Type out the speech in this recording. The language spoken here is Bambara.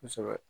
Kosɛbɛ